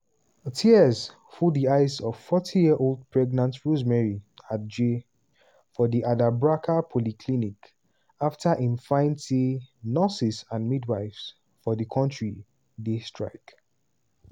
tears full di eyes of 40-year-old pregnant rosemary adjei for di adabraka polyclinic afta im find say nurses and midwives for di kontri dey strike.